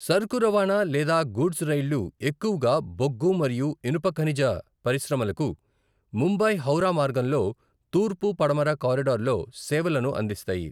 సరుకు రవాణా లేదా గూడ్స్ రైళ్లు ఎక్కువగా బొగ్గు మరియు ఇనుప ఖనిజ పరిశ్రమలకు ముంబై హౌరా మార్గంలో తూర్పు పడమర కారిడార్లో సేవలను అందిస్తాయి.